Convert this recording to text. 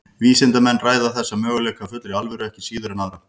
Vísindamenn ræða þessa möguleika af fullri alvöru ekki síður en aðra.